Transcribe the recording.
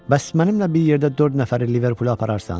Bəs mənimlə bir yerdə dörd nəfəri Liverpula apararsan?